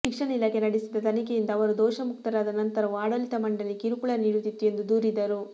ಶಿಕ್ಷಣ ಇಲಾಖೆ ನಡೆಸಿದ ತನಿಖೆಯಿಂದ ಅವರು ದೋಷ ಮುಕ್ತರಾದ ನಂತರವೂ ಆಡಳಿತ ಮಂಡಳಿ ಕಿರುಕುಳ ನೀಡುತ್ತಿತ್ತು ಎಂದು ದೂರಿದರು